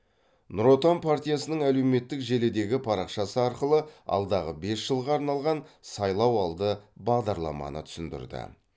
нұр отан партиясының әлеуметтік желідегі парақшасы арқылы алдағы бес жылға арналған сайлауалды бағдарламаны түсіндірді